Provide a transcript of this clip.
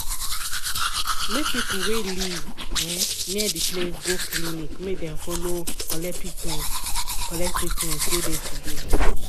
make people wey live um near de place go clinic make dem follow um collect treament collect treament wey de to do.